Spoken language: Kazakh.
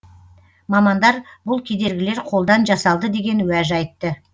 мамандар бұл кедергілер қолдан жасалды деген уәж айтты